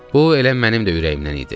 Bu elə mənim də ürəyimdən idi.